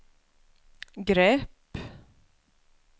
grepp